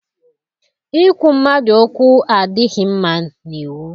Ikwu mmadụ okwu adịghị mma n'iwu.